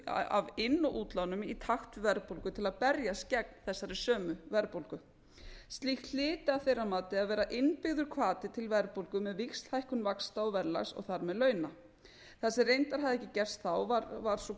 viðbótarvöxtum af inn og útlánum í takt við verðbólgu til að berjast gegn þessari sömu verðbólgu slíkt hlyti að þeirra mati að vera innbyggður hvati til verðbólgu með víxlhækkun vaxta og verðlags og þar með launa það sem reyndar hafði ekki gerst þá var að